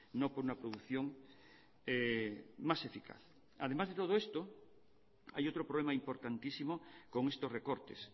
no con una producción más eficaz además de todo esto hay otro problema importantísimo con estos recortes